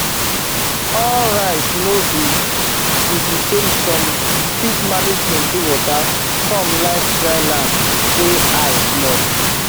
all rice no be be the samesome fit manage plenty water some like dry land wey high small